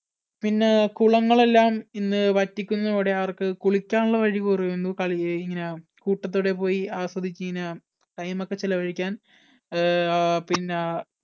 പിന്നെ കുളങ്ങളെല്ലാം ഇന്ന് വറ്റിക്കുന്നതോടെ അവർക്ക് കുളിക്കാനുള്ള വഴി കുറയുന്നു. കളി ഇങ്ങനെ കൂട്ടത്തോടെ പോയി ആസ്വദിച്ച് ഇങ്ങനെ time ഒക്കെ ചെലവഴിക്കാൻ അഹ് പിന്നെ ആ